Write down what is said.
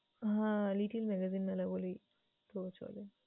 হ্যাঁ, little magazine মেলা বলেই তো চলে।